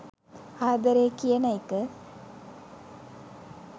ආදරේ කියන එක